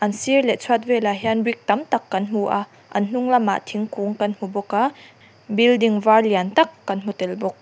sir leh chhuat vel ah hian brick tam tak kan hmu a an hnung lama thingkung kan hmu bawka building var lian tak kan hmu tel bawk.